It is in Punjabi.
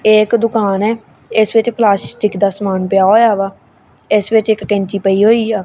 ਇਕ ਦੁਕਾਨ ਹੈ ਇਸ ਵਿੱਚ ਪਲਾਸਿਕ ਦਾ ਸਮਾਨ ਪਿਆ ਹੋਇਆ ਹੈ ਇਸ ਵਿੱਚ ਇੱਕ ਕੈਂਚੀ ਪਈ ਹੋਈ ਹੈ।